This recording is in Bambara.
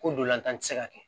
Ko dolantan ti se ka kɛ